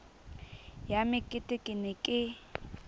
ya mekete ke ne ke